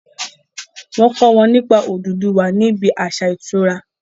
wón kọ wón nípa ododuwa ní ibí aṣa ìtura